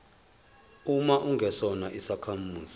uma ungesona isakhamuzi